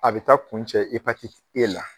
A bɛ taa kun cɛ e la.